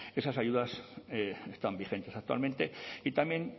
esas ayudas están vigentes actualmente y también